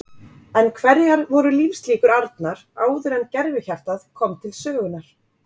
En hverjar voru lífslíkur Arnar áður en gervihjartað kom til sögunnar?